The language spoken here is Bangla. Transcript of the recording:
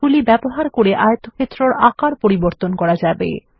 এগুলি ব্যবহার করে আয়তক্ষেত্রের আকার পরিবর্তন করা যাবে